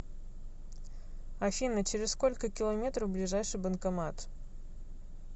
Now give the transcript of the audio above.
афина через сколько километров ближайший банкомат